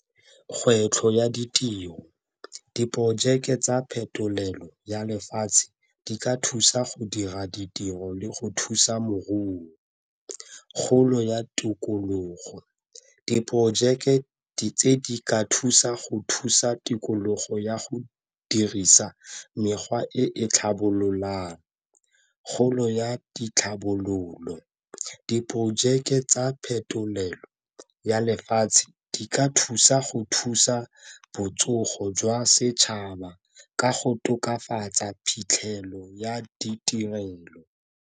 Kgwetlho ya ditiro, diporojeke tsa phetolelo ya lefatshe di ka thusa go dira ditiro le go thusa moruo. Kgolo ya tikologo, diporojeke tse di ka thusa go thusa tikologo ya go dirisa mekgwa e e tlhabololang. Kgolo ya ditlhabololo, diprojeke tsa phetolelo ya lefatshe di ka thusa go thusa botsogo jwa setšhaba ka go tokafatsa phitlhelelo ya ditirelo.